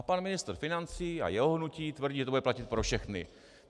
A pan ministr financí a jeho hnutí tvrdí, že to bude platit pro všechny.